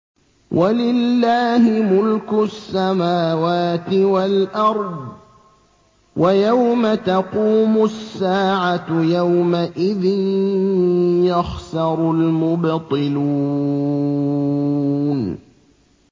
وَلِلَّهِ مُلْكُ السَّمَاوَاتِ وَالْأَرْضِ ۚ وَيَوْمَ تَقُومُ السَّاعَةُ يَوْمَئِذٍ يَخْسَرُ الْمُبْطِلُونَ